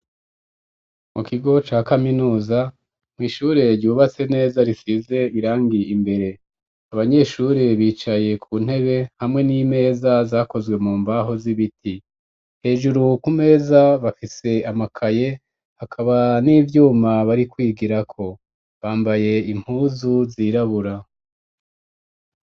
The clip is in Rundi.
Mu kigo, ca kaminuza, mw’ishure ryubatse neza, risize irangi imbere; abanyeshure, bicaye ku ntebe, hamwe n'imeza, zakozwe mu mbaho, z'ibiti; hejuru ku meza, bafise amakaye, hakaba n'ivyuma, bari kwigirako; bambaye impuzu, zirabura.